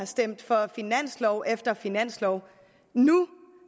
stemte for finanslov efter finanslov nu